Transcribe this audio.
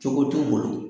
Cogo t'u bolo